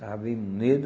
Estava bem munido,